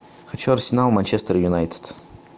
хочу арсенал манчестер юнайтед